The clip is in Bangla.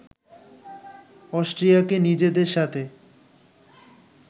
অস্ট্রিয়াকে নিজেদের সাথে